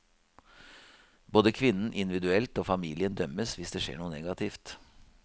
Både kvinnen individuelt og familien dømmes hvis det skjer noe negativt.